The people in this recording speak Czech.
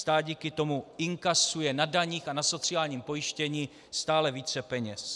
Stát díky tomu inkasuje na daních a na sociálním pojištění stále více peněz.